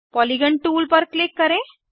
polygon tool पर click करें